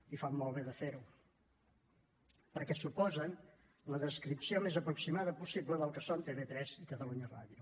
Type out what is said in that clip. i fan molt bé de fer ho perquè suposen la descripció més aproximada possible del que són tv3 i catalunya ràdio